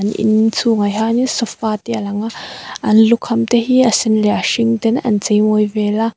in chhungah hianin sofa te a lang a an lukham te hi a sen leh a hring ten an cheimawi vel a.